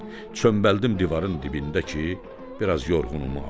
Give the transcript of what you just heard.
Çömbəldim divarın dibində ki, biraz yorğunumu alım.